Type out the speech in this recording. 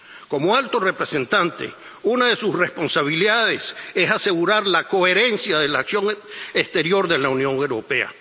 Como alto representante, una de sus responsabilidades es asegurar la coherencia de la acción exterior de la Unión Europea.